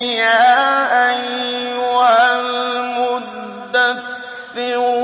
يَا أَيُّهَا الْمُدَّثِّرُ